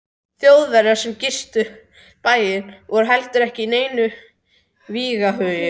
Þjóðverjar sem gistu bæinn voru heldur ekki í neinum vígahug.